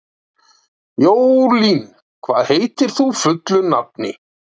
Jólín, hvað heitir þú fullu nafni?